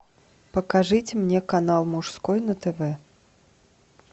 покажите мне канал мужской на тв